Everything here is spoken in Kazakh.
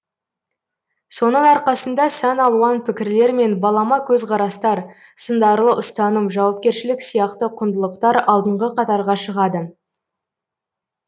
соның арқасында сан алуан пікірлер мен балама көзқарастар сындарлы ұстаным жауапкершілік сияқты құндылықтар алдыңғы қатарға шығады